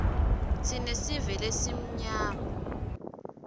tsine sive lesimnyama